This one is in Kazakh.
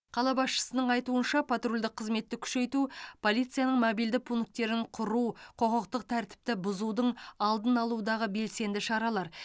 қала басшысының айтуынша патрульдік қызметті күшейту полицияның мобильді пункттерін құру құқықтық тәртіпті бұзудың алдын алудағы белсенді шаралар